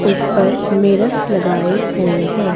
इस पर मिरर्स लगाए हुए हैं।